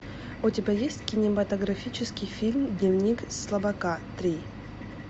у тебя есть кинематографический фильм дневник слабака три